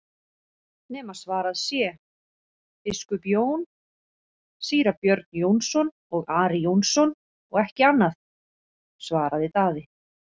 nema svarað sé:-Biskup Jón, Síra Björn Jónsson og Ari Jónsson og ekki annað, svaraði Daði.